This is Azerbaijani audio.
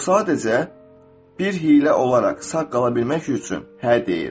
O sadəcə bir hiylə olaraq sağ qala bilmək üçün hə deyir.